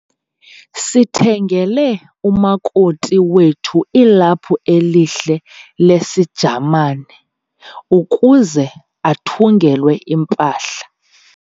sithengele umakoti wethu ilaphu elihle lesiJamane ukuze athungelwe impahla.